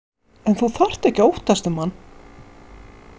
En þú þarft ekki að óttast um hann.